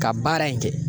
Ka baara in kɛ